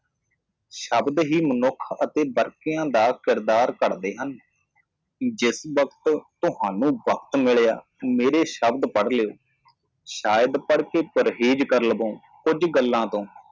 ਸ਼ਬਦ ਹੇ ਮਨੁੱਖ ਅਤੇ ਵਾਰਕੋ ਦਾ ਪਾਤਰ ਪੜ੍ਹਦੇ ਹਨ ਜਦੋਂ ਵੀ ਤੁਹਾਨੂੰ ਸਮਾਂ ਮਿਲਦਾ ਹੈ ਮੇਰੇ ਸ਼ਬਦ ਪੜ੍ਹੋ ਸ਼ਾਇਦ ਤੁਸੀਂ ਪੜ੍ਹਨ ਤੋਂ ਪਰਹੇਜ਼ ਕਰੋਗੇ ਕਿਸੇ ਬਿੰਦੂ ਤੋਂ